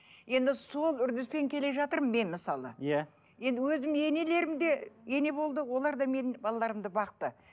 енді сол үрдіспен келе жатырмын мен мысалы иә енді өзімнің енелерім де ене болды олар да менің балаларымды бақты